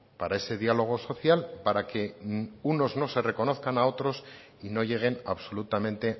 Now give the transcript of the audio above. para ese diálogo social para que unos no se reconozcan a otras y no lleguen a absolutamente